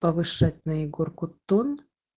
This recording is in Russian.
повышать на егорку тон